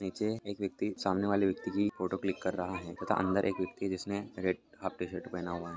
नीचे एक व्यक्ति सामने वाले व्यक्ति की फोटो क्लिक कर रहा है तथा अंदर एक व्यक्ति जिसने रेड हाफ टी-शर्ट पहना हुआ --